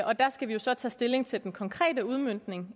og der skal vi jo så tage stilling til den konkrete udmøntning